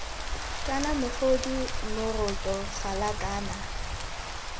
kana mogodu moroto gala kana